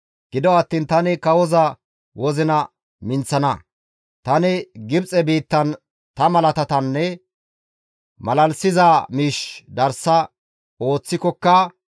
Gido attiin tani kawoza wozina minththana; tani Gibxe biittan ta malaatanne maalalissiza miish darsa ooththikokka,